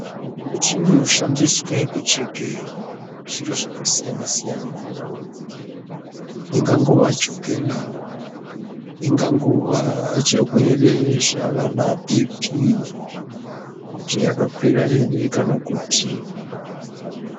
Muchini inoshandiswe kucheke zviro zvakasiyana-siyana ingangova chokela ingangova zvirwere zvaanaBhiipii kuti yakakwira here kana kuti...